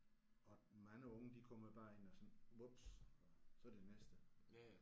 Og mange unge de kommer bare ind og sådan vups og så det næste